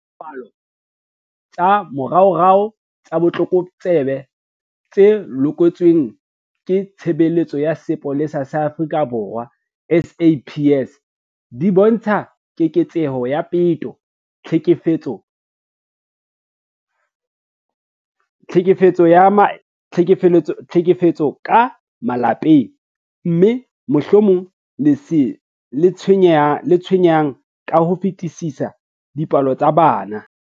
Dipalopalo tsa moraorao tsa botlokotsebe tse lokollotsweng ke Tshebeletso ya Sepolesa sa Afrika Borwa, SAPS, di bontsha keketseho ya peto, tlhekefetso ya ka malapeng, mme, mohlomong le se tshwenyang ka ho fetisisa, dipolao tsa bana.